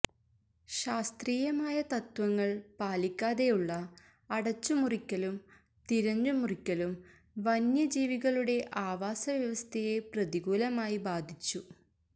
ശാസ്ത്രീയമായ തത്വങ്ങള് പാലിക്കാതെയുള്ള അടച്ചുമുറിക്കലും തിരഞ്ഞുമുറിക്കലും വന്യജീവികളുടെ ആവാസവ്യവസ്ഥയെ പ്രതികൂലമായി ബാധിച്ചു